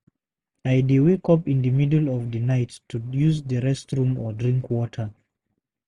I dey wake up in the middle of the night to use the restroom or drink water.